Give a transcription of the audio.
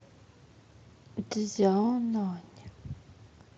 цзяонань